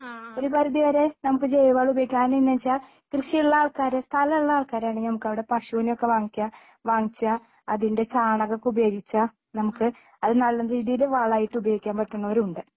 ഒരു പരിധിവരെ നമുക്ക് ജൈവവളം ഉപയോഗിക്കാന് എങ്ങനെയാന്ന് വെച്ചാ കൃഷിയുള്ള ആൾക്കാര് സ്ഥലമുള്ള ആൾക്കാരാണെങ്കിൽ നമുക്കവിടെ പശുവിനെ ഒക്കെ വാങ്ങിക്കാം വാങ്ങിച്ചാൽ അതിൻ്റെ ചാണകം ഒക്കെ ഉപയോഗിച്ചാൽ നമുക്ക് അത് നല്ല രീതിയില് വളമായിട്ട് ഉപയോഗിക്കാൻ പറ്റുന്നവരുണ്ട്.